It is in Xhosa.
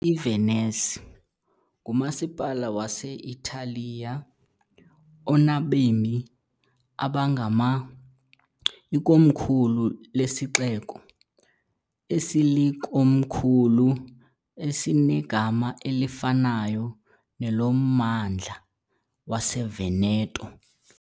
IVenice ngumasipala wase-Italiya onabemi abangama- , ikomkhulu lesixeko esilikomkhulu esinegama elifanayo nelommandla waseVeneto ..